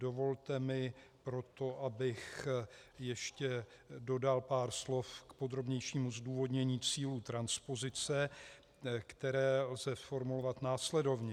Dovolte mi, proto, abych ještě dodal pár slov k podrobnějšímu zdůvodnění cílů transpozice, které lze formulovat následovně.